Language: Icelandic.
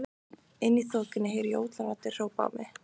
Inni í þokunni heyri ég ótal raddir hrópa á mig.